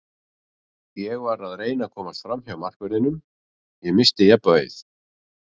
Ég var að reyna að komast framhjá markverðinum, ég missti jafnvægið.